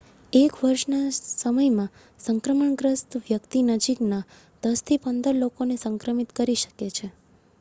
એક વર્ષના સમયમાં સંક્રમણગ્રસ્ત વ્યક્તિ નજીકના 10થી 15 લોકોને સંક્રમિત કરી શકે છે